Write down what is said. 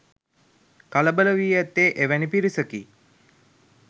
කලබල වී ඇත්තේ එවැනි පිරිසකි.